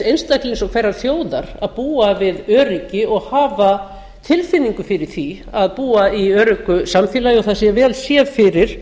einstaklings og hverrar þjóðar að búa við öryggi og hafa tilfinningu fyrir því að búa í öruggu samfélagi og það sé vel séð fyrir